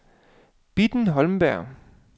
Bitten Holmberg